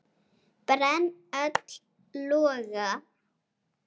brenn öll loga